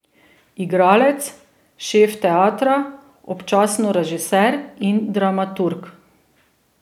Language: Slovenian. Igralec, šef teatra, občasno režiser in dramaturg.